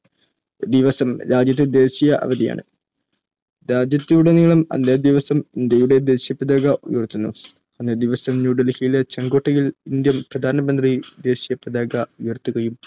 ദിവസം രാജ്യത്ത് ദേശീയ അവധി ആണ്‌. രാജ്യത്തുടനീളം അന്നേ ദിവസം ഇന്ത്യയുടെ ദേശീയപതാക ഉയർത്തുന്നു. അന്നേ ദിവസം ന്യൂഡൽഹിയിലെ ചെങ്കോട്ടയിൽ ഇന്ത്യൻ പ്രധാനമന്ത്രി ദേശീയ പതാക ഉയർത്തുകയും